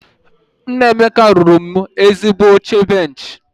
Nna Emeka rụrụ mụ ezigbo oche benchị